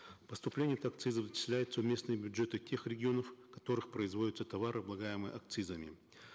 поступление от акцизов начисляются в местные бюджеты тех регионов в которых производятся товары облагаемые акцизами